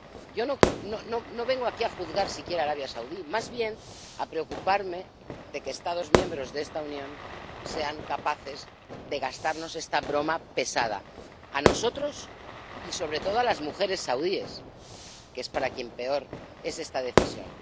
Yo no vengo aquí a juzgar siquiera a Arabia Saudí, más bien a preocuparme de que Estados miembros de esta Unión sean capaces de gastarnos esta broma pesada, a nosotros y sobre todo a las mujeres saudíes, que es para quien peor es esta decisión.